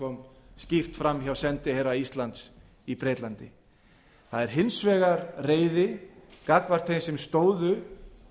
kom skýrt fram hjá sendiherra íslands í bretlandi það er hins vegar reiði gagnvart þeim sem stóðu